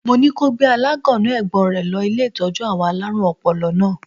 Mo ní ko gbé aláńgànná ẹ̀gbọ́n rẹ̀ lọ́ ilé ìtọ́jú àwọn alárùn ọpọlọ lánàá.